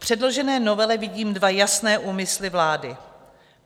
V předložené novele vidím dva jasné úmysly vlády.